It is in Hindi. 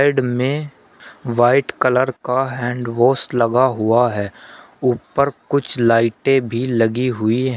साइड में व्हाइट कलर का हैंड वॉश लगा हुआ है ऊपर कुछ लाइटें भी लगी हुई है।